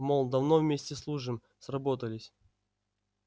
мол давно вместе служим сработались